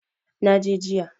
Na je jiya.